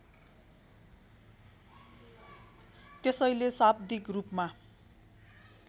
त्यसैले शाब्दिक रूपमा